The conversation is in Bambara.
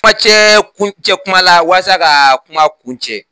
Kuma cɛ kuma cɛ kuma la walasa ka kuma kun cɛ